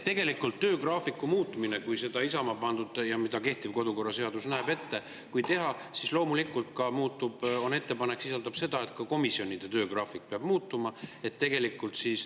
Tegelikult, kui töögraafiku muutmist, mida Isamaa ette pani ja mida kehtiv kodukorraseadus ette näeb, teha, siis loomulikult, ettepanek sisaldab seda, et ka komisjonide töögraafik peab muutuma.